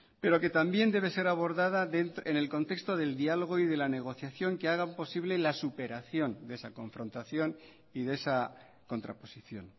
pero que también debe ser abordada en el contexto del diálogo y de la negociación que hagan posible la superación de esa confrontación y de esa contraposición